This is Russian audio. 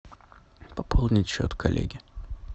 пополнить счет коллеги